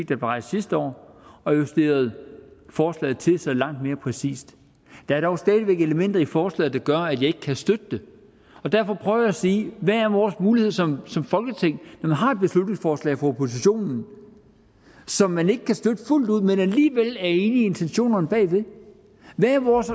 blev rejst sidste år og justeret forslaget til så det er langt mere præcist der er dog stadig væk elementer i forslaget der gør at jeg ikke kan støtte det og derfor prøver jeg at sige hvad er vores mulighed som som folketing når man har et beslutningsforslag fra oppositionen som man ikke kan støtte fuldt ud men alligevel er enig i intentionerne bagved hvad er vores